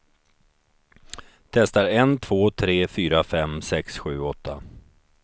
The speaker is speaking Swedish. Testar en två tre fyra fem sex sju åtta.